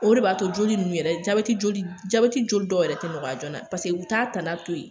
O de b'a to joli nunnu yɛrɛ jabɛti joli dɔw yɛrɛ tɛ nɔgɔya jona paseke u t'a tana to yen.